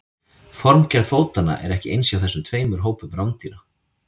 formgerð fótanna er ekki eins hjá þessum tveimur hópum rándýra